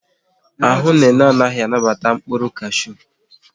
Ahụ Nene anaghị anabata mkpụrụ kashu